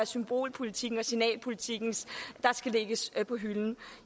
symbolpolitikken og signalpolitikken der skal lægges på hylden